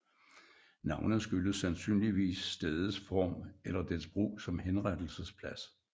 Navnet skyldes sandsynligvis stedets form eller dets brug som henrettelsesplads